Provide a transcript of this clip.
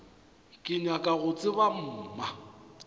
ke nyaka go tseba mma